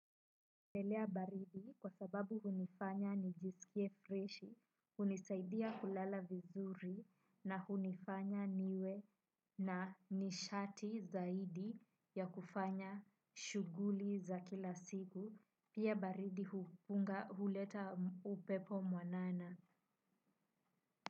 Napendelea baridi kwa sababu hunifanya nijisikie freshi, hunisaidia kulala vizuri na hunifanya niwe na nishati zaidi ya kufanya shughuli za kila siku, pia baridi huleta upepo mwanana.